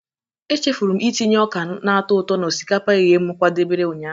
Echefuru m itinye ọka na-atọ ụtọ na osikapa eghe m kwadebere ụnyaahụ.